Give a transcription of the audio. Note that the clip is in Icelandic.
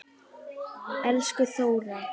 Elsku Þóra.